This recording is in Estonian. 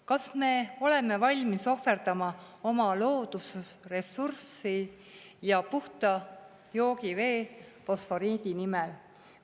Kas me oleme valmis ohverdama oma loodusressurssi ja puhast joogivett fosforiidi nimel?